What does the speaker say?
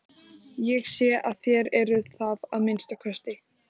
Ég sé að þér eruð það að minnsta kosti.